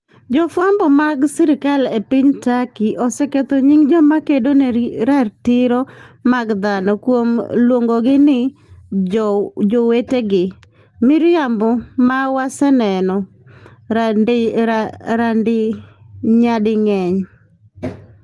Jofwambo moko mag sirkal e piny Turkey oseketho nying joma kedo ne ratiro mag dhano kuom luongogi ni "jowetegi" - miriambo ma waseneno nyading'eny.